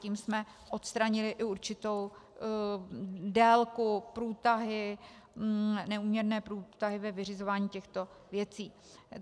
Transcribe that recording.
Tím jsme odstranili i určitou délku, neúměrné průtahy ve vyřizování těchto věcí.